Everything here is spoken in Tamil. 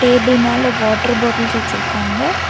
டேபிள் மேல வாட்டர் பாட்டில்ஸ் வச்சிருக்காங்க.